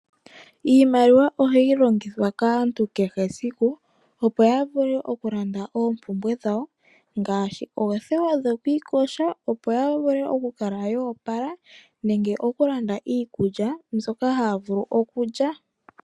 Iimaliwa ohayi longithwa kaantu kehe esiku, opoya vule oku landa oompumbwe dhawo ngashi oothewa dhoku ikosha, opo ya vule oku kala yoopala nenge oku landa iikulya mbyoka haya vulu okulya.